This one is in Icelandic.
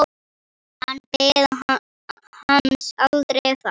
Hann beið hans aldrei þar.